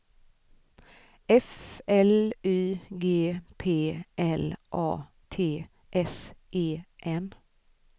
F L Y G P L A T S E N